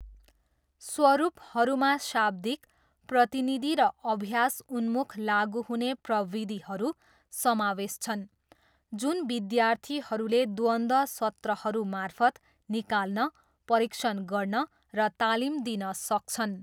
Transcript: स्वरूपहरूमा शाब्दिक, प्रतिनिधि र अभ्यास उन्मुख लागु हुने प्रविधिहरू समावेश छन् जुन विद्यार्थीहरूले द्वन्द्व सत्रहरू मार्फत् निकाल्न, परीक्षण गर्न र तालिम दिन सक्छन्।